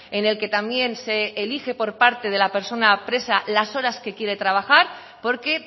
en el que también se elige por parte de la persona presa las horas que quiere trabajar porque